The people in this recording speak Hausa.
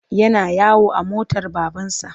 Yana yawo a motar babansa.